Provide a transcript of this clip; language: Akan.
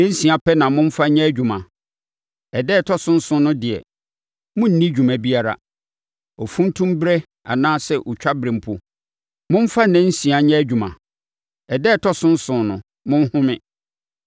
“Nnansia pɛ na momfa nyɛ adwuma. Ɛda a ɛtɔ so nson no deɛ, monnni dwuma biara. Ofuntumberɛ anaa otwaberɛ mpo, momfa nna nsia nyɛ adwuma. Ɛda a ɛtɔ so nson no, monhome.